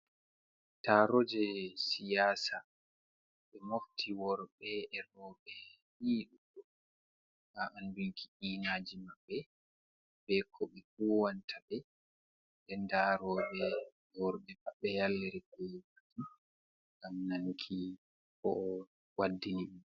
Taro je siyasa, ɓe mofti worɓe roɓe ii ɗuuɗugo, ha anɗunki iinaji maɓɓe, ɓe ko be huwanta ɓe. Ɗen nɗa worɓɓe yalliri ngam nanuki ko ɓe waɗɗini be.